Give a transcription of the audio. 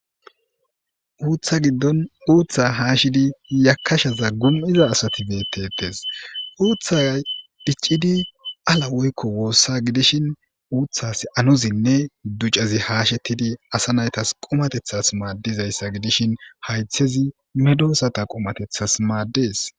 uutha giddon uuththa haashidi yakashaza gum'iza asati beetettes, uuthaya dhiccidi ala woykko woossa gidishin uuthas anuzinne ducazi haashettidi asa naytas qomatethas maaddizayssa gidishin haythezi medosata qomatethas maaddees